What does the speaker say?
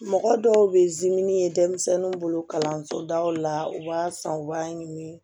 Mɔgɔ dɔw bɛ ye denmisɛnninw bolo kalanso daw la u b'a san u b'a ɲimi